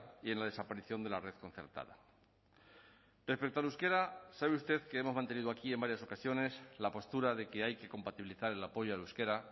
y en la desaparición de la red concertada respecto al euskera sabe usted que hemos mantenido aquí en varias ocasiones la postura de que hay que compatibilizar el apoyo al euskera